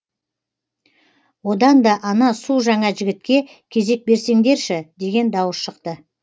одан да ана су жаңа жігітке кезек берсеңдерші деген дауыс шықты